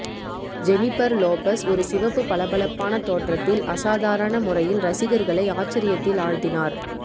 Jennifer Lopez ஒரு சிவப்பு பளபளப்பான தோற்றத்தில் அசாதாரண முறையில் ரசிகர்களை ஆச்சரியத்தில் ஆழ்த்தினார்